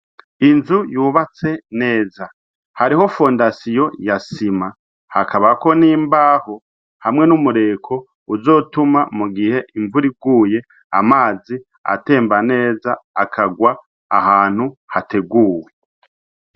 Inzu yubatse neza hariho fundasiyo yasima hakabako n'imbaho hamwe n'umureko uzotuma mu gihe imvuriguye amazi atemba neza akagwa ahantu hateguwe.